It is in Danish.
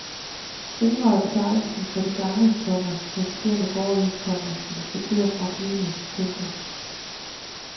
Fingre er betegnelsen for de gange, komma passagererne går i, komma når de skal til og fra flyene. punktum